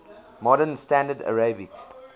modern standard arabic